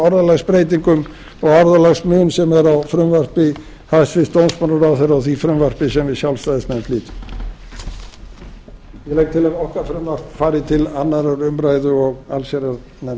orðalagsbreytingum og orðalagsmun sem er á frumvarpi hæstvirts dómsmálaráðherra og því frumvarpi sem við sjálfstæðismenn flytjum ég legg til að okkar frumvarp fari til annarrar umræðu og háttvirtrar allsherjarnefndar